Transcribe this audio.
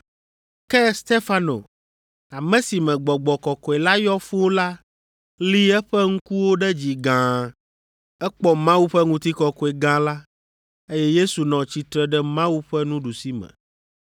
Ke Stefano, ame si me Gbɔgbɔ Kɔkɔe la yɔ fũu la li eƒe ŋkuwo ɖe dzi gãa, ekpɔ Mawu ƒe ŋutikɔkɔe gã la, eye Yesu nɔ tsitre ɖe Mawu ƒe nuɖusime.